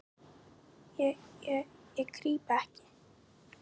Ég, ég krýp ekki.